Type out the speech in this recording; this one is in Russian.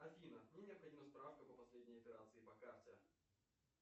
афина мне необходима справка по последней операции по карте